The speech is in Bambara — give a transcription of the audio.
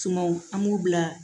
Tumaw an b'u bila